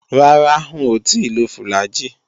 Rárá, ń ò tíì lo fùlàgi